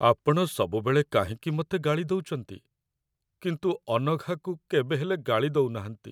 ଆପଣ ସବୁବେଳେ କାହିଁକି ମତେ ଗାଳି ଦଉଚନ୍ତି, କିନ୍ତୁ ଅନଘାକୁ କେବେ ହେଲେ ଗାଳି ଦଉନାହାନ୍ତି?